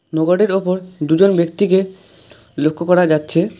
নৌকাটির ওপর দুজন ব্যক্তিকে লক্ষ্য করা যাচ্ছে।